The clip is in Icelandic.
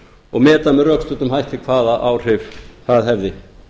og meta með rökstuddum hætti hvaða áhrif það hefði